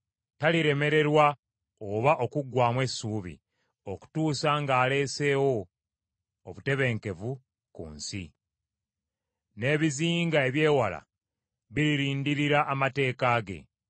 Taliremererwa oba okuggwaamu essuubi okutuusa ng’aleesewo obutebenkevu ku nsi. N’ebizinga eby’ewala biririndirira amateeka ge.